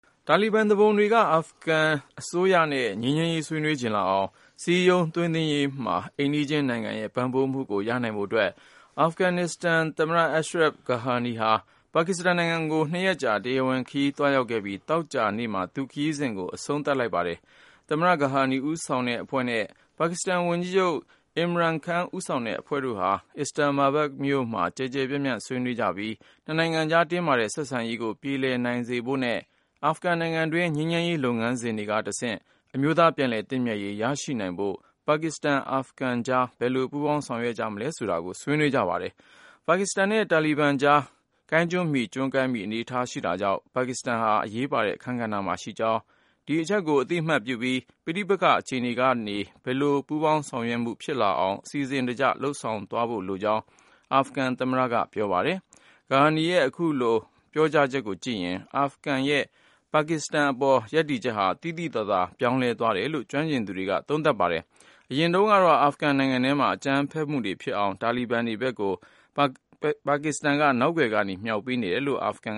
တာလီဘန်သူပုန်တွေက အာဖဂန်အစိုးရနဲ့ ငြိမ်းချမ်းရေး ဆွေးနွေးချင်လာအောင် စည်းရုံးသိမ်းသွင်းရေးမှာ အိမ်နီးချင်းနိုင်ငံရဲ့ ကူညီပံ့ပိုးမှုကို ရနိုင်ဖို့အတွက် အာဖဂန်နစ္စတန်သမ္မတ Ashraf Ghani ဟာ ပါကစ္စတန်နိုင်ငံကို ၂ရက်ကြာ တရားဝင်ခရီး သွားရောက်ခဲ့ပြီး သောကြာနေ့က သူ့ခရီးစဉ်ကို အဆုံးသတ်လိုက်ပါတယ်။ သမ္မတ Ghani ဦးဆောင်တဲ့အဖွဲ့နဲ့ ပါကစ္စတန်ဝန်ကြီးချုပ် Imran Khan ဦးဆောင်တဲ့အဖွဲ့တို့ဟာ Islamabad မြို့မှာ ကျယ်ကျယ်ပြန့်ပြန့် ဆွေးနွေးခဲ့ကြပြီး နှစ်နိုင်ငံကြား တင်းမာတဲ့ ဆက်ဆံရေးကို ပြေလည်နိုင်ဖို့နဲ့ အာဖဂန် နိုင်ငံတွင်း ငြိမ်းချမ်းရေးလုပ်ငန်းစဉ်တွေက တဆင့် အမျိုးသား ပြန်လည်သင့်မြတ်ရေး ရရှိနိုင်ဖို့ ပါကစ္စတန်-အာဖဂန်ကြား ဘယ်လို ပူးပေါင်းဆောင်ရွက်နိုင်မလဲ ဆိုတာတွေကို ဆွေးနွေးခဲ့ကြပါတယ်။ ပါကစ္စတန်နဲ့ တာလီဘန်တို့ကြား ကျွန်းကိုင်းမှီ ကိုင်းကျွန်းမှီ အနေအထားရှိတာကြောင့် ပါကစ္စတန်ဟာ အရေးပါတဲ့ အခန်းကဏ္ဍမှာရှိကြောင်း၊ ဒီအချက်ကို အသိမှတ်ပြုပြီး ပဋိပက္ခအခြေအနေကနေ ပူးပေါင်းဆောင်ရွက်မှု ဖြစ်လာအောင် အစီအစဉ်တကျ လုပ်ဆောင်သွားဖို့လိုကြောင်း အာဖဂန်သမ္မတက Islamabad မှာ ပြောပါတယ်။ Ghani ရဲ့ အခုလို ပြောကြားချက်ကိုကြည့်ရင် အာဖဂန်ရဲ့ ပါကစ္စတန်အပေါ် ရပ်တည်ချက်ဟာ သိသိသာသာ ပြောင်းလဲသွားတယ်လို့ ကျွမ်းကျင်သူတွေက သုံးသပ်ပါတယ်။ အရင်တုန်းကတော့ အာဖဂန်နိုင်ငံထဲမှာ အကြမ်းဖက်မှုတွေ ဖြစ်အောင် တာလီဘန်တွေကို ပါကစ္စတန်က နောက်ကွယ်ကနေ မြှောက်ပေးနေတယ်လို့ အာဖဂန်